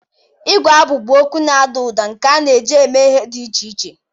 Igu abụ bụ okwu na-ada ụda nke a na-eji eme ihe dị iche iche.